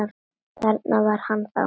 Þarna var hann þá!